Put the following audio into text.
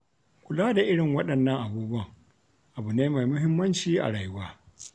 Kula da irin waɗannan abubuwan abu ne mai muhimmanci a rayuwa.